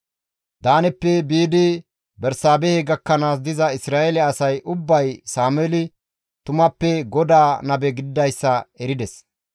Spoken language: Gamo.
Daaneppe biidi Bersaabehe gakkanaas diza Isra7eele asay ubbay Sameeli tumappe GODAA nabe gididayssa erides.